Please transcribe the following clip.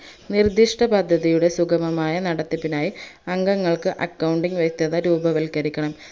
നിർദിഷ്ട പദ്ധതിയുടെ സുഗമമായ നടത്തിപ്പിനായി അംഗങ്ങൾക്ക് accounting വ്യെക്തത രൂപവൽക്കരിക്കനം